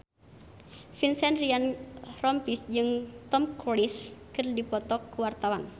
Vincent Ryan Rompies jeung Tom Cruise keur dipoto ku wartawan